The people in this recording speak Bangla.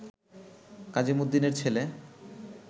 কাজীমুদ্দীনের ছেলে